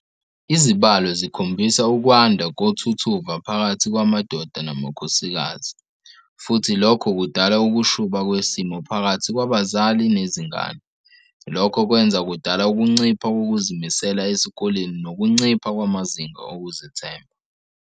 Izibalo zikhombisa ukwanda kothutuva phakathi kwamadoda namakhosikazi futhi lokho kudala ukushuba kwesimo phakathi kwabazali nezingane, lokho kwenza kudala ukuncipha kokuzimisela esikoleni nokuncipha kwamazinga okuzithemba.